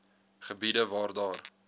gebiede waar daar